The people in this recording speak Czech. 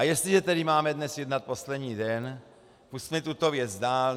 A jestliže tedy máme dnes jednat poslední den, pusťme tuto věc dál.